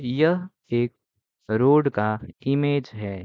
यह एक रोड का इमेज है।